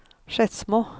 Skedsmo